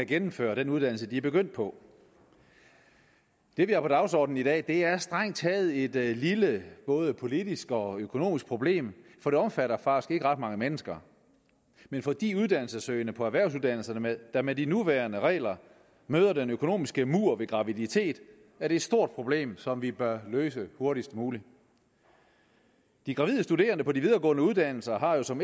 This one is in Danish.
gennemføre den uddannelse de er begyndt på det vi har på dagsordenen i dag er strengt taget et lille både politisk og økonomisk problem for det omfatter faktisk ikke ret mange mennesker men for de uddannelsessøgende på erhvervsuddannelserne der med de nuværende regler møder den økonomiske mur ved graviditet er det et stort problem som vi bør løse hurtigst muligt de gravide studerende på de videregående uddannelser har jo som